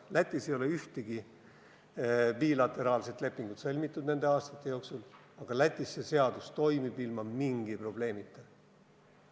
Lätis ei ole nende aastate jooksul sõlmitud ühtegi bilateraalset lepingut, aga Lätis toimib see seadus ilma mingi probleemita.